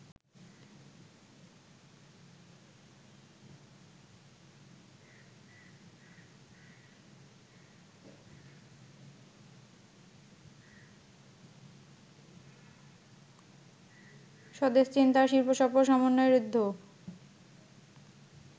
স্বদেশ চিন্তার শিল্পসফল সমন্বয়ে ঋদ্ধ